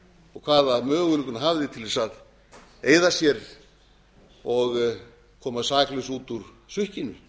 og hvaða möguleika hún hafði til að eyða sér og koma saklaus út úr sukkinu